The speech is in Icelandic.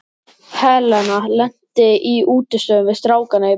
Helena lenti í útistöðum við strákana í bekknum.